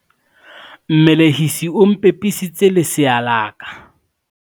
mmelehisi o mpepisitse lesea la ka